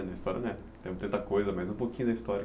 A história não é tanta coisa, mas um pouquinho da história.